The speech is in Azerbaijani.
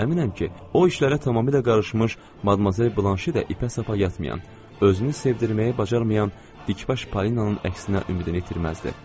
Əminəm ki, o işlərə tamamilə qarışmış Madmazel Blanşe də ipə-sapa yatmayan, özünü sevdirməyə bacarmayan dikbaş Polinanın əksinə ümidini itirməzdi.